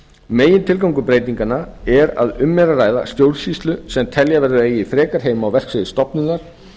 megintilgangur breytinganna er að um er að ræða stjórnsýslu sem telja verður að eigi frekar heima á verksviði stofnunar